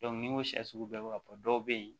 n'i ko sɛ sugu bɛɛ bɛ ka ban dɔw bɛ yen